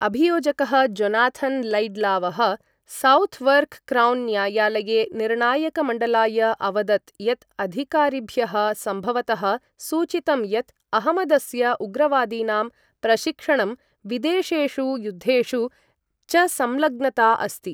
अभियोजकः Jonathan लैड्लावः Southwark Crown न्यायालये निर्णायकमण्डलाय अवदत् यत् अधिकारिभ्यः सम्भवतः सूचितं यत् अहमदस्य उग्रवादीनां प्रशिक्षणं विदेशेषु युद्धेषु च संलग्नता अस्ति।